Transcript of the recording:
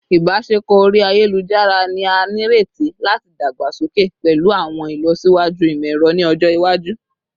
Ibaṣepọ ori ayelujara ni a nireti lati dagbasoke pẹlu awọn ilọsiwaju imọ-ẹrọ ni ọjọ iwaju